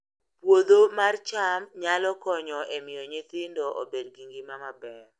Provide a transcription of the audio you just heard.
Puodho mar cham nyalo konyo e miyo nyithindo obed gi ngima maber